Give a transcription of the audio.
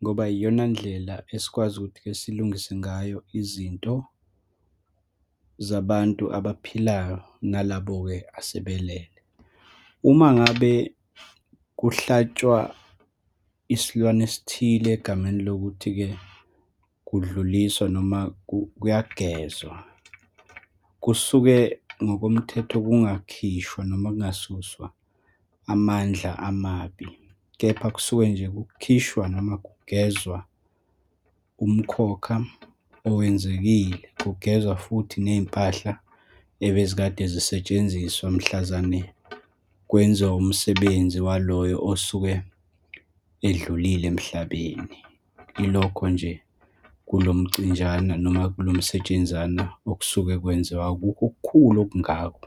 ngoba iyona ndlela esikwazi ukuthi-ke silungise ngayo izinto zabantu abaphilayo, nalabo-ke asebelele. Uma ngabe kuhlatshwa isilwane esithile egameni lokuthi-ke kudluliswa, noma kuyagezwa, kusuke ngokomthetho, kungakhishwa, noma kungasuswa amandla amabi, kepha kusuke nje kukhishwa, noma kugezwa umkhokha owenzekile. Kugezwa futhi ney'mpahla ebezikade zisetshenziswa mhlazane kwenziwa umsebenzi waloyo osuke edlulile emhlabeni. Yilokho nje kulomcinjana, noma kulomsetshenzana okusuke kwenziwa, akukho okukhulu okungako.